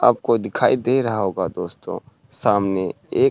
आपको दिखाई दे रहा होगा दोस्तों सामने एक --